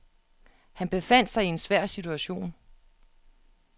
Han befandt sig i en svær situation.